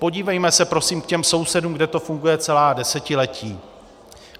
Podívejme se prosím k těm sousedům, kde to funguje celá desetiletí.